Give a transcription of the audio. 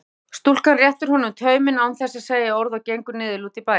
Stúlkan réttir honum tauminn án þess að segja orð og gengur niðurlút í bæinn.